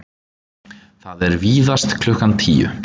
Það er víðast klukkan tíu.